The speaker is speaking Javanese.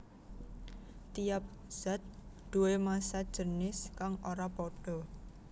Tiap zat duwé massa jinis kang ora pada